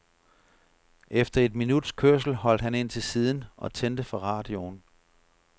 Efter et minuts kørsel holdt han ind til siden og tændte for radioen.